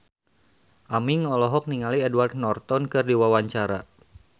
Aming olohok ningali Edward Norton keur diwawancara